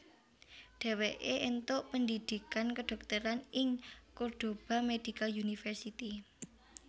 Dheweke entuk pendhidhikan kedhokteran ing Cordoba Medical University